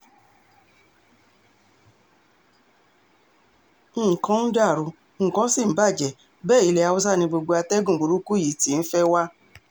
nǹkan ń dàrú nǹkan ṣì ń bàjẹ́ bẹ́ẹ̀ ilẹ̀ haúsá ni gbogbo àtẹ̀gùn burúkú yìí ti ń fẹ́ wá